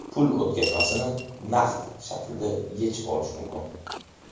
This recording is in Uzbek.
Pul o‘tkazmasini naqd shaklda yechib olish mumkin.